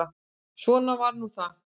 Svona var nú það.